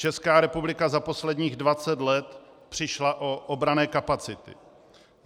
Česká republika za posledních 20 let přišla o obranné kapacity.